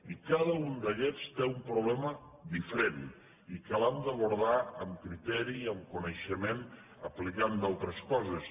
i cada un d’aquests té un problema diferent i que l’hem d’abordar amb criteri i amb coneixement aplicant altres coses